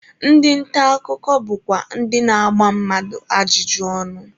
Ndị nta akụkọ bụkwa ndị na-agba mmadụ ajụjụ ọnụ.